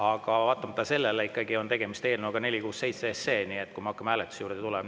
Aga vaatamata sellele on tegemist eelnõuga 467, me hakkame hääletuse juurde.